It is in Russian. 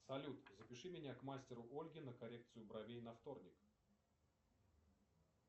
салют запиши меня к мастеру ольге на коррекцию бровей на вторник